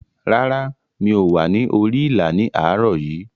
Rárá, mi ò wà ní orí ìlà ní àárọ̀ yìí.